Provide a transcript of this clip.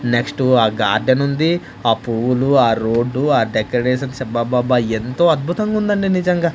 Next ఆ garden ఉంది ఆ పువ్వులు ఆ రోడ్డు ఆ డెకరేషన్ అబ్బా-అబ్బా-అబ్బా ఎంతో అద్భుతంగా ఉందండి నిజంగా.